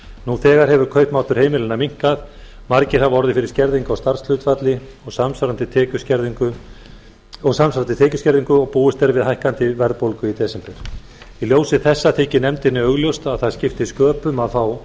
nú þegar hefur kaupmáttur heimilanna minnkað margir hafa orðið fyrir skerðingu á starfshlutfalli og samsvarandi tekjuskerðingu og búist er við hækkandi verðbólgu í desember í ljósi þessa þykir nefndinni augljóst að það skipti sköpum að fá